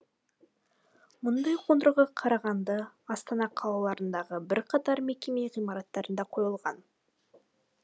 мұндай қондырғы қарағанды астана қалаларындағы бірқатар мекеме ғимараттарына қойылған